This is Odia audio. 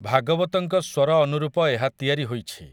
ଭାଗବତଙ୍କ ସ୍ୱର ଅନୁରୂପ ଏହା ତିଆରି ହୋଇଛି ।